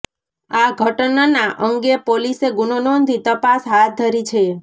આ ઘટનના અંગે પોલીસે ગુનો નોંધી તપાસ હાથ ધરી છે